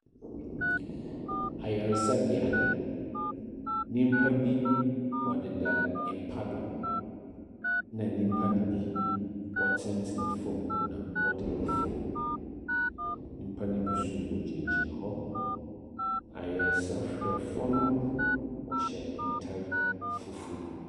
Ayarsabea, nyimpa bi wɔdeda mpa do, na nyimpa no bi wɔtsenatsena famu na wɔdeda famu. Nyimpano bi nso wɔgyinagyina hɔ. Ayarsahwɛfo no wɔhyɛ ntar fufuw.